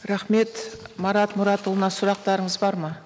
рахмет марат мұратұлына сұрақтарыңыз бар ма